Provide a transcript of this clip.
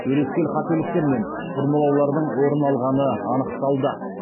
өрескел қателіктер мен бұрмалаулардың орын алғаны анықталды